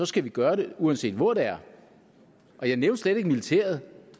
skal vi gøre det uanset hvor det er og jeg nævnte slet ikke militæret